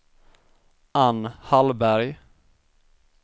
Ann Hallberg